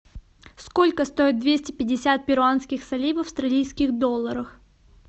сколько стоит двести пятьдесят перуанских солей в австралийских долларах